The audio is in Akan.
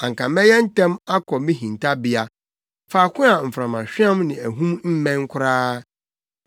anka mɛyɛ ntɛm akɔ me hintabea, faako a mframahweam ne ahum mmɛn koraa.”